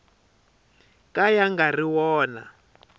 ka ya nga ri wona